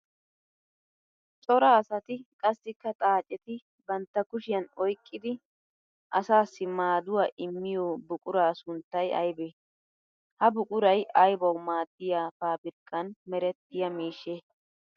Cora asatti qassikka xaacetti bantta kushiyan oyqqiddi asaassi maaduwa immiyo buqura sunttay aybbe? Ha buquray aybbawu maadiya paabirkkan merettiya miishshe?